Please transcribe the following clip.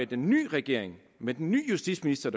den nye regering med den nye justitsminister